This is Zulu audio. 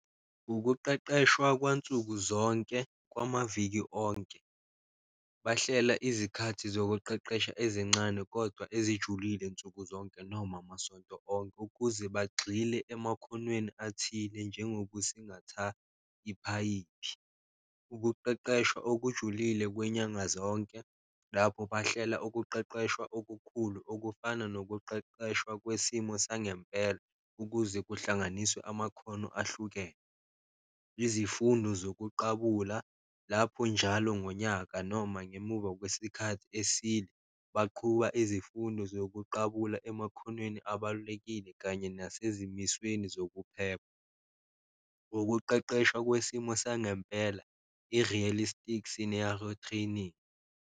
Ukuqeqeshwa kwansuku zonke kwamaviki onke, bahlela izikhathi zokuqeqesha ezincane kodwa ezijulile nsuku zonke noma masonto onke, ukuze bagxile emakhonweni athile njengokusingathatha iphayiphi. Ukuqeqeshwa okujulile kwenyanga zonke, lapho bahlela ukuqeqeshwa okukhulu okufana nokuqeqeshwa kwesimo sangempela, ukuze kuhlanganiswe amakhono ahlukene. Izifundo zokuqabula, lapho njalo ngonyaka noma ngemuva kwesikhathi eside, baqhuba izifundo zokuqabula emakhonweni abalulekile kanye nasezimisweni zokuphepha. Ukuqeqeshwa kwesimo sangempela, i-realistic scenario training.